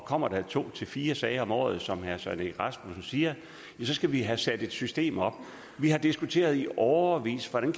kommer der to til fire sager om året som herre søren egge rasmussen siger så skal vi have sat et system op vi har diskuteret i årevis hvordan